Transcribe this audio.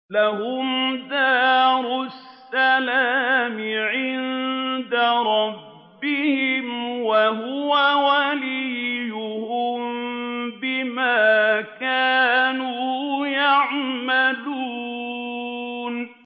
۞ لَهُمْ دَارُ السَّلَامِ عِندَ رَبِّهِمْ ۖ وَهُوَ وَلِيُّهُم بِمَا كَانُوا يَعْمَلُونَ